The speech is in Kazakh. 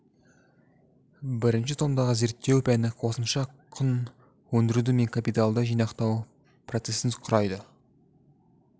бірінші томдағы зерттеу пәні қосымша құн өндіру мен капиталды жинақтау процесін құрайды